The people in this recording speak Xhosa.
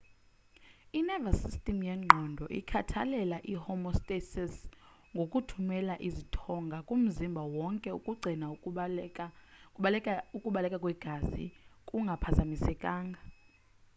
i-nervouse system yengqondo ikhathalela i-homestasis ngokuthumela izithongana kumzimba wonke ukugcina ukubaleka kwegazi kungaphazamisekanga